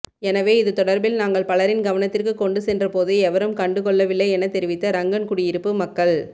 எனவே இது தொடர்பில் நாங்கள் பலரின் கவனத்திற்கு கொண்டு சென்ற போது எவரும் கண்டுகொள்ளவில்லை எனத் தெரிவித்த ரங்கன்குடியிருப்பு மக்கள்